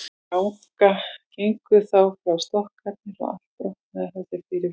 Gengu þá frá stokkarnir og allt brotnaði það sem fyrir varð.